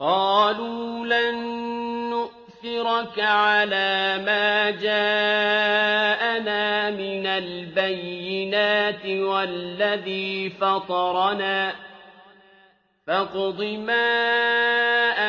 قَالُوا لَن نُّؤْثِرَكَ عَلَىٰ مَا جَاءَنَا مِنَ الْبَيِّنَاتِ وَالَّذِي فَطَرَنَا ۖ فَاقْضِ مَا